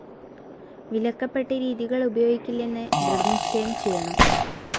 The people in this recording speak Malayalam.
വിലക്കപ്പെട്ട രീതികൾ ഉപയോഗിക്കില്ലെന്ന് ദൃഢനിശ്ചയം ചെയ്യണം.